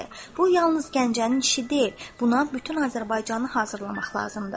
Bu yalnız Gəncənin işi deyil, buna bütün Azərbaycanı hazırlamaq lazımdır.